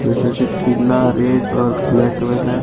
जैसे कि पीला रेड और ब्लैक में है।